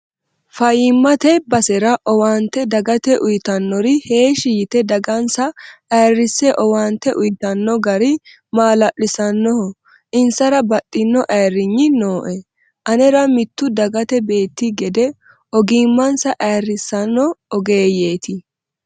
Fayyimate basera owaante dagate uyittanori heeshshi yte dagansa ayirrise owaante uyittano gari malaalisanoho insara baxxino ayirrinyi nooe anera mitu dagate beetti gede, ogimmansa ayirrisano ogeeyeti.